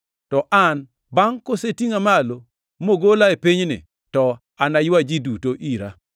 To an, bangʼ kosetingʼa malo mogola e pinyni, to anaywa ji duto ira.”